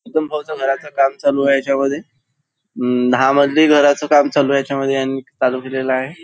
भाऊच्या घराचं काम चालू आहे यांच्यामध्ये अं दहा मजली घराचं काम चालू आहे याच्यामध्ये यांनी चालू केलेलं आहे.